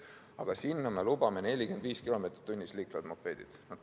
Aga sinna me lubame 45 km/h liiklevad mopeedid.